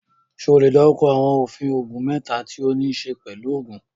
Ṣé o lè dárúkọ àwọn òfin oògùn mẹ́ta tí ó níí ṣe pẹ̀lú òògùn?